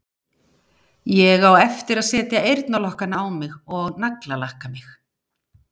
Ég á eftir að setja eyrnalokkana á mig og naglalakka mig.